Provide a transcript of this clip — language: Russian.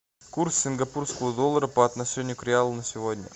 курс сингапурского доллара по отношению к реалу на сегодня